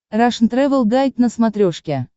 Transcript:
рашн тревел гайд на смотрешке